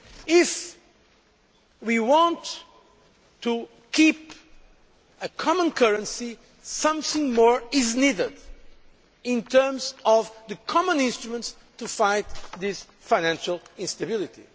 Europe. If we want to keep a common currency, something more is needed in terms of the common instruments to fight this financial instability.